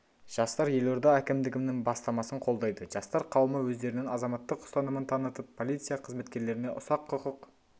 жастар елорда әкімдігінің бастамасын қолдайды жастар қауымы өздерінің азаматтық ұстанымын танытып полиция қызметкерлеріне ұсақ құқық